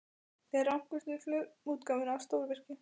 Þar rákumst við á frumútgáfuna af stórvirki